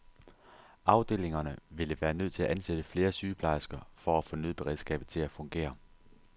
Afdelingerne ville være nødt til at ansætte flere sygeplejersker for at få nødberedskabet til at fungere.